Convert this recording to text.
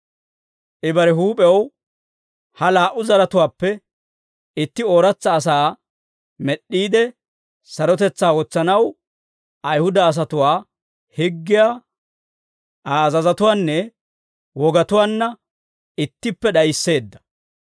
I bare huup'ew ha laa"u zaratuwaappe itti ooratsa asaa med'd'iide sarotetsaa wotsanaw, Ayihuda asatuwaa higgiyaa Aa azazatuwaanne wogatuwaanna ittippe d'ayisseedda.